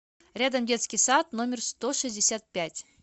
рядом детский сад номер сто шестьдесят пять